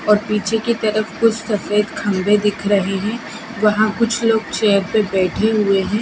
और पीछे की तरफ कुछ सफेद खंभे दिख रही हैं वहां कुछ लोग चेयर पे बैठे हुए हैं।